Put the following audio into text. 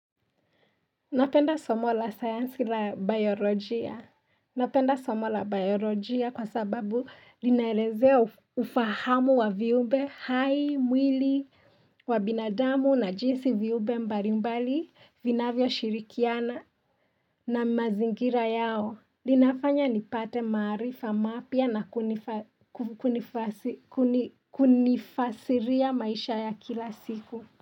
Napenda somo la sayansi la biologia Napenda somo la biologia kwa sababu linaelezea ufahamu wa viumbe hai mwili wa binadamu na jinsi viumbe mbali mbali vinavyo shirikiana na mazingira yao Linafanya nipate marifa mapya na kunifasiria maisha ya kila siku.